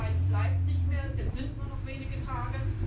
Viel Zeit bleibt nicht mehr, es sind nur noch wenige Tage.